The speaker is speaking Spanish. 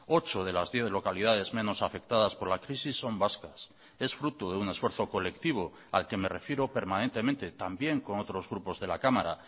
ocho de las diez localidades menos afectadas por la crisis son vascas es fruto de un esfuerzo colectivo al que me refiero permanentemente también con otros grupos de la cámara